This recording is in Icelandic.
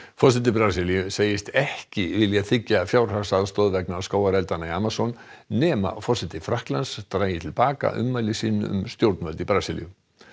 forseti Brasilíu segist ekki vilja þiggja fjárhagsaðstoð vegna skógareldanna í Amazon nema forseti Frakklands dragi til baka ummæli sín um stjórnvöld í Brasilíu